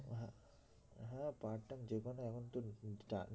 হ্যাঁ part time যেকোনো এখন তো